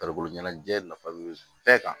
Farikolo ɲɛnajɛ nafa bɛ bɛɛ kan